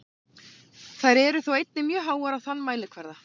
Þær eru þó einnig mjög háar á þann mælikvarða.